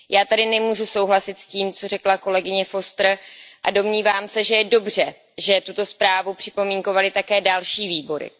Já tedy nemůžu souhlasit s tím, co řekla kolegyně Fosterová, a domnívám se, že je dobře, že tuto zprávu připomínkovaly také další výbory.